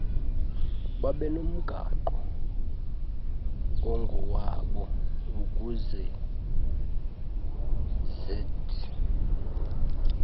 babenomgaqo ongowabo ukuzed